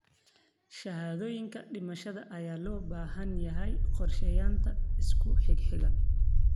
Shahaadooyinka dhimashada ayaa loo baahan yahay qorsheynta isku xigxiga.